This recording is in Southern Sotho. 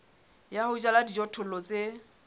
ya ho jala dijothollo tse